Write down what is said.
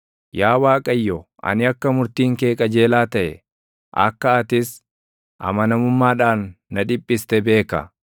Yaa Waaqayyo, ani akka murtiin kee qajeelaa taʼe, akka atis amanamummaadhaan na dhiphiste beeka.